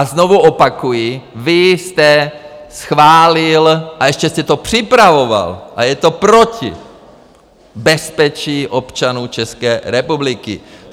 A znovu opakuji, vy jste schválil - a ještě jste to připravoval a je to proti bezpečí občanů České republiky.